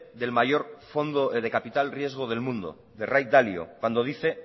del mayor fondo de capital riesgo del mundo de ray dalio cuando dice